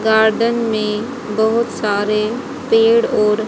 garden में बहुत सारे पेड़ और--